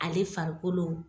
Ale farikolo